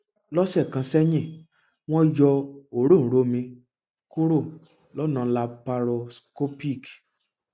lọsẹ kan sẹyìn wọn yọ òróǹro mi kúrò lọnà laparoscopic